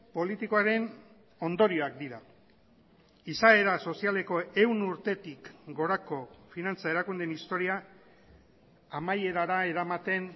politikoaren ondorioak dira izaera sozialeko ehun urtetik gorako finantza erakundeen historia amaierara eramaten